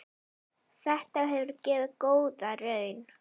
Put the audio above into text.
Þetta hefur gefið góða raun.